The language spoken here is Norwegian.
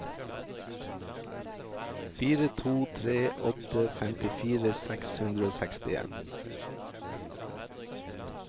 fire to tre åtte femtifire seks hundre og sekstien